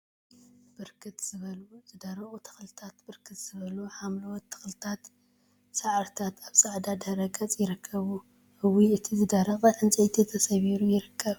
ብርክት ዝበሉ ዝደረቁ ተክልታን ብርክት ዝበሉ ሓምለዎት ተክልታትን ሳዕሪታትን አብ ፃዕዳ ድሕረ ገፅ ይርከቡ፡፡ እዋይ! እቲ ዝደረቀ ዕንፀይቲ ተሰባቢሩ ይርከብ፡፡